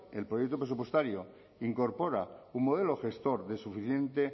el proyecto presupuestario incorpora un modelo gestor de suficiente